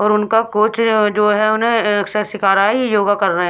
और उनका कोच जो है उन्हें सिखा रहा है योगा कर रहे हैं।